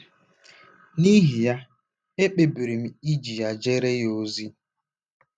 N’ihi ya, ekpebiri m iji ya jeere ya ozi. ”